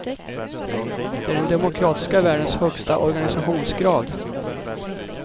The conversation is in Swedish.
Det är den demokratiska världens högsta organisationsgrad.